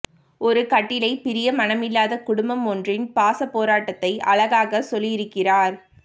ஒரு கட்டிலை பிரிய மனமில்லாத குடும்பம் ஒன்றின் பாசப்போராட்டத்தை அழகாக சொல்லியிருக்கிறார்